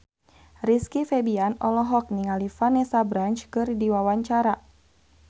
Rizky Febian olohok ningali Vanessa Branch keur diwawancara